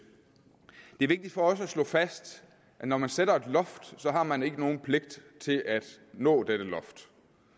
er vigtigt for os at slå fast at når man sætter et loft har man ikke nogen pligt til at nå dette loft